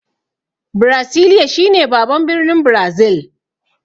Birasiliya shi ne baban birnin Brazil.